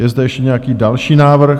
Je zde ještě nějaký další návrh?